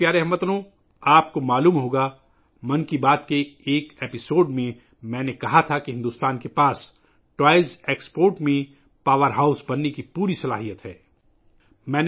میرے پیارے ہم وطنو، آپ کو یاد ہو گا ، 'من کی بات ' کے ایک ایپی سوڈ میں میں نے کہا تھا کہ بھارت میں کھلونوں کی برآمدات میں پاور ہاؤس بننے کی تمام صلاحیتیں موجود ہیں